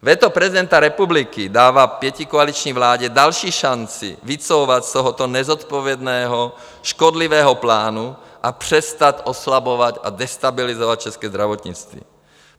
Veto prezidenta republiky dává pětikoaliční vládě další šanci vycouvat z tohoto nezodpovědného, škodlivého plánu a přestat oslabovat a destabilizovat české zdravotnictví.